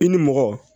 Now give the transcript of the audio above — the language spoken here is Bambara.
I ni mɔgɔ